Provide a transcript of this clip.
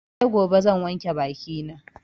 Sai gobe zan wanke baki na